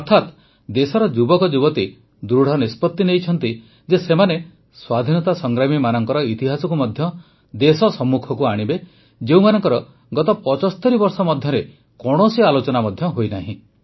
ଅର୍ଥାତ ଦେଶର ଯୁବକଯୁବତୀ ଦୃଢ଼ ନିଷ୍ପତି ନେଇଛନ୍ତି ଯେ ସେମାନେ ସ୍ୱାଧୀନତା ସଂଗ୍ରାମୀମାନଙ୍କର ଇତିହାସକୁ ମଧ୍ୟ ଦେଶ ସମ୍ମୁଖକୁ ଆଣିବେ ଯେଉଁମାନଙ୍କର ଗତ ୭୫ ବର୍ଷ ମଧ୍ୟରେ କୌଣସି ଆଲୋଚନା ମଧ୍ୟ ହୋଇନାହିଁ